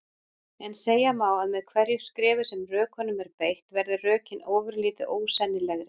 En segja má að með hverju skrefi sem rökunum er beitt verði rökin ofurlítið ósennilegri.